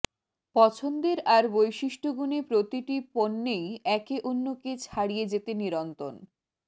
পছন্দের আর বৈশিষ্ট্যগুণে প্রতিটি পণ্যেই একে অন্যকে ছাড়িয়ে যেতে নিরন্তন